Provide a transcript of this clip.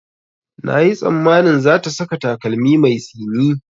Na yi tsammanin za ta saka takalmi mai tsini